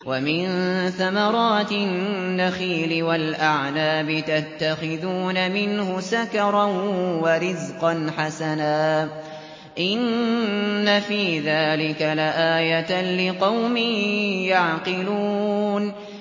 وَمِن ثَمَرَاتِ النَّخِيلِ وَالْأَعْنَابِ تَتَّخِذُونَ مِنْهُ سَكَرًا وَرِزْقًا حَسَنًا ۗ إِنَّ فِي ذَٰلِكَ لَآيَةً لِّقَوْمٍ يَعْقِلُونَ